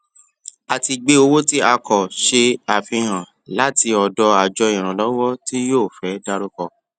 a ti gbé owó tí a kò ṣe àfihàn láti ọdọ àjọ ìrànlọwọ tí yóò fẹ dárúkọ